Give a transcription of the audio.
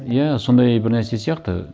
иә сондай бір нәрсе сияқты